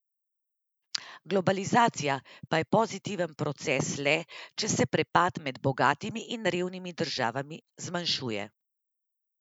Globalizacija pa je pozitiven proces le, če se prepad med bogatimi in revnimi državami zmanjšuje.